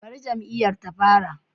Bari jam'iyyar ta fara